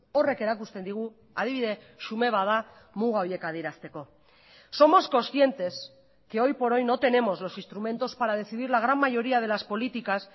horrek erakusten digu adibide xume bat da muga horiek adierazteko somos conscientes que hoy por hoy no tenemos los instrumentos para decidir la gran mayoría de las políticas